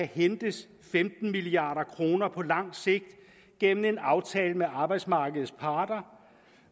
hentes femten milliard kroner på lang sigt gennem en aftale med arbejdsmarkedets parter